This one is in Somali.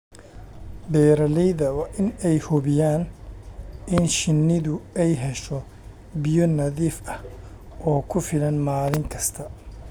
Beeralayda waa in ay hubiyaan in shinnidu ay hesho biyo nadiif ah oo ku filan maalin kasta.